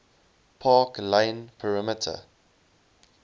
park lane perimeter